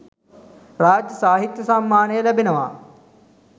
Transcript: රාජ්‍ය සාහිත්‍ය සම්මානය ලැබෙනවා.